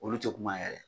Olu tɛ kuma yɛrɛ